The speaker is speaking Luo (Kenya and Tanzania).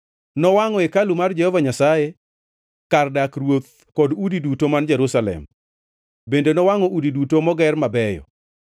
Nowangʼo hekalu mar Jehova Nyasaye, kar dak ruoth kod udi duto man Jerusalem. Bende nowangʼo udi duto moger mabeyo.